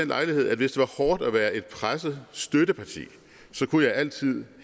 lejlighed at hvis det var hårdt og være et presset støtteparti kunne jeg altid